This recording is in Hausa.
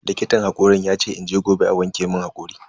Likitan hakorin yace in je gobe a wanke mun hakori.